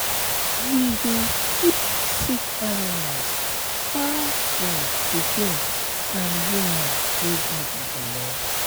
we dey keep sick animals far from pikin and woman wey get belle.